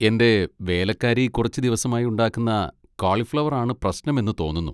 എൻ്റെ വേലക്കാരി കുറച്ചു ദിവസമായി ഉണ്ടാക്കുന്ന കോളിഫ്ളവർ ആണ് പ്രശ്നം എന്ന് തോന്നുന്നു.